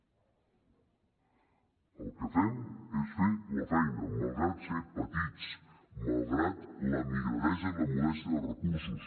el que fem és fer la feina malgrat ser petits malgrat la migradesa i la modèstia de recursos